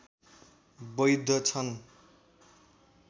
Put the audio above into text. वैध छन्